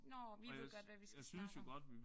Nåh. Vi ved godt hvad vi skal snakke om